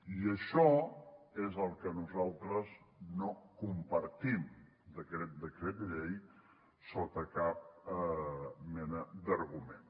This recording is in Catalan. i això és el que nosaltres no compartim d’aquest decret llei sota cap mena d’argument